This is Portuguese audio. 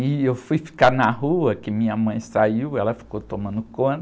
E eu fui ficar na rua, que minha mãe saiu, ela ficou tomando conta.